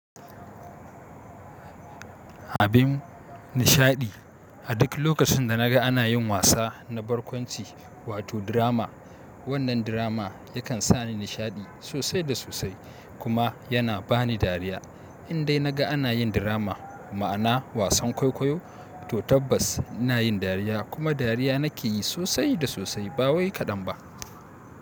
Abin nishaɗi. A duk lokacin da na ga ana yin wasa na barƙwanci wato drama, wannan drama yakan sa ni nishaɗi sosai da sosai kuma yana bani dariya. Indai na ga ana yin drama ma'ana wasan kwaikwayo to tabbas ina yin dariya kuma dariya nake yi sosai da sosai ba wai kaɗan ba.